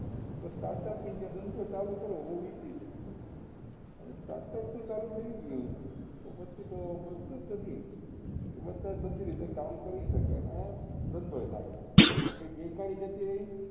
તો Start up india ધંધો ચાલુ કરવો બઉ easy છે અને start up જો ચાલુ થઇ ગયું તો પછી તો પ્રશ્ન જ નથી કે બધા જ બધી રીતે કામ કરી શકે ને ધંધો એ થાય કેમ કે બેકારી એ જતી રહી